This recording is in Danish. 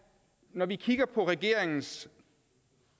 når vi kigger på regeringens